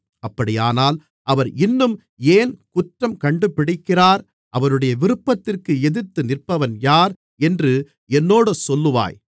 அப்படியானால் அவர் இன்னும் ஏன் குற்றம் கண்டுபிடிக்கிறார் அவருடைய விருப்பத்திற்கு எதிர்த்து நிற்பவன் யார் என்று என்னோடு சொல்லுவாய்